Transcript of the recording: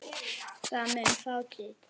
Það mun fátítt.